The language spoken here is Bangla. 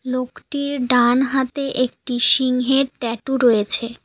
লোকটির ডান হাতে একটি সিংহের ট্যাটু রয়েছে।